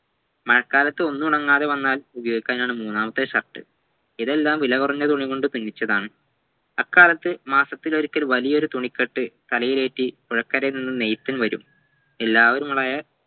മഴക്കാലത്ത് ഒന്നുണങ്ങാതെ വന്നാൽ ഉപോയോഗിക്കുവാനാണ് മൂന്നാമത്തെ shirt ഇതെല്ലാം വിലകുറഞ്ഞ തുണികൾ കൊണ്ട് പിന്നിച്ചതാണ് അ കാലത്ത് മാസത്തിൽ ഒരിക്കൽ വലിയൊരു തുണികെട്ട് തലയിലേറ്റി പുഴക്കരയിൽ നിന്നും നെയ്തുംവരും എല്ലാവരുമായ